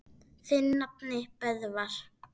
Þinn nafni, Böðvar.